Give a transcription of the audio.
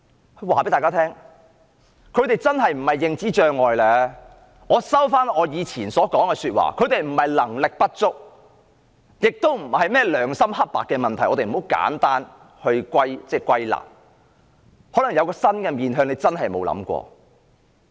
讓我告訴大家，他們真的不是患上認知障礙，我收回以前說過的話，他們不是能力不足，也不是甚麼良心黑白的問題，不要太簡單地把問題歸納，而是可能有一個新的面向，是大家真的沒有想過的。